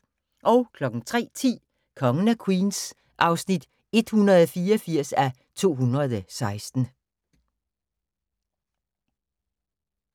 03:10: Kongen af Queens (184:216)